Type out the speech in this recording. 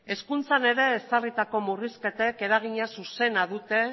hezkuntzan ere ezarritako murrizketek eragina zuzena dute